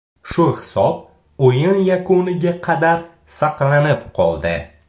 Shu hisob o‘yin yakuniga qadar saqlanib qoldi.